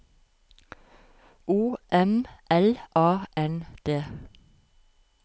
O M L A N D